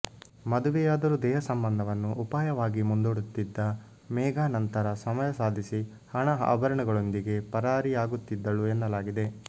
ಮದುವೆಯಾದರೂ ದೇಹ ಸಂಬಂಧವನ್ನು ಉಪಾಯವಾಗಿ ಮುಂದೂಡುತ್ತಿದ್ದ ಮೇಘಾ ನಂತರ ಸಮಯಸಾಧಿಸಿ ಹಣ ಆಭರಣಗಳೊಂದಿಗೆ ಪರಾರಿಯಾಗುತ್ತಿದ್ದಳು ಎನ್ನಲಾಗಿದೆ